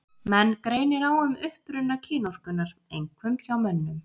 Menn greinir á um uppruna kynorkunnar, einkum hjá mönnum.